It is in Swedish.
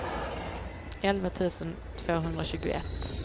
elva tusen tvåhundratjugoett